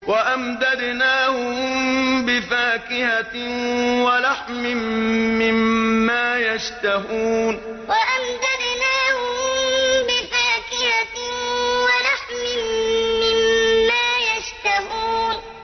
وَأَمْدَدْنَاهُم بِفَاكِهَةٍ وَلَحْمٍ مِّمَّا يَشْتَهُونَ وَأَمْدَدْنَاهُم بِفَاكِهَةٍ وَلَحْمٍ مِّمَّا يَشْتَهُونَ